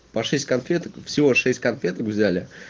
по шесть конфеток всего шесть конфеток взяли